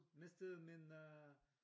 Mistede min øh